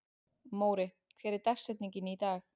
Móri, hver er dagsetningin í dag?